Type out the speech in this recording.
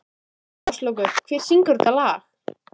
Áslákur, hver syngur þetta lag?